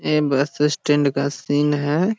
ए bus stand का scene है।